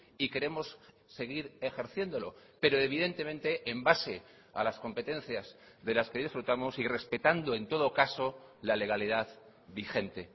y queremos seguir ejerciéndolo pero evidentemente en base a las competencias de las que disfrutamos y respetando en todo caso la legalidad vigente